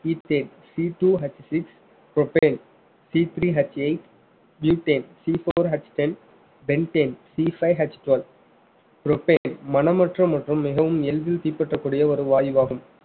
ethaneCtwoHsix propaneCthreeHeight butaneCfourHten pentaneCfiveHtwelve propane மனமற்ற மற்றும் மிகவும் எளிதில் தீப்பற்றக்கூடிய ஒரு வாயுவாகும்